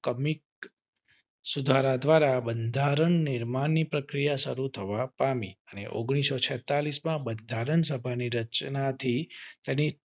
commit સુધારા દ્વારા બંધારણ નિર્માણ ની પ્રક્રિયા શરૂ થવા પામી અને ઓન્ગ્લીસો છેતાલીસમાં બંધારણ સભા ની રચના થઇ અને